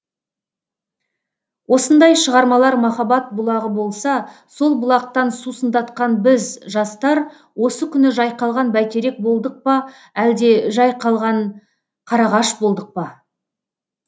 осындай шығармалар махаббат бұлағы болса сол бұлақтан сусындатқан біз жастар осы күні жайқалған бәйтерек болдық па әлде жәй қалған қарағаш болдық па